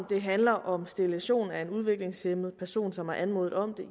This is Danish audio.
det handler om sterilisation af en udviklingshæmmet person som har anmodet om